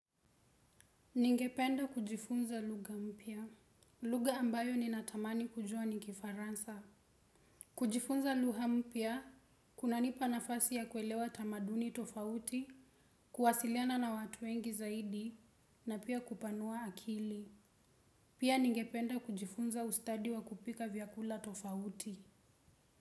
Ningependa kujifunza lugha mpya. Lugha ambayo ninatamani kujua ni kifaransa. Kujifunza lugha mpya, kunanipa nafasi ya kuelewa tamaduni tofauti, kuwasiliana na watu wengi zaidi, na pia kupanua akili. Pia ningependa kujifunza ustadi wa kupika vyakula tofauti.